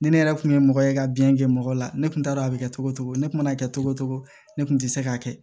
Ni ne yɛrɛ kun ye mɔgɔ ye ka biyɛn kɛ mɔgɔ la ne kun t'a dɔn a bi kɛ cogo o cogo ne kun mana kɛ cogo o cogo ne kun tɛ se k'a kɛ